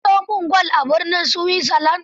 Ka siyo min gwal a birnin Switzerland.